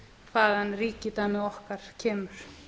hvaðan ríkidæmi okkar kemur